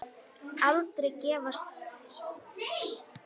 Aldrei að gefast upp.